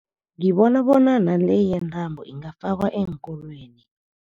Ngibona bona nale yentambo ingafakwa eenkolweni.